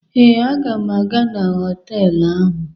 Ee, m ga-aga na họtelụ ahụ.